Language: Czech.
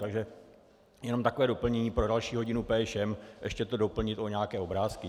Takže jenom takové doplnění pro další hodinu PŠM - ještě to doplnit o nějaké obrázky.